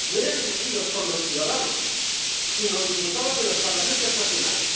No eran elegidos por los ciudadanos, sino diputados de los Parlamentos nacionales.